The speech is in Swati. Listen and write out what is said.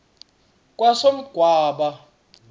kamsogwaba